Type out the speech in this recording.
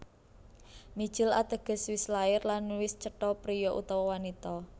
Mijil Ateges wis lair lan wis cetha priya utawa wanita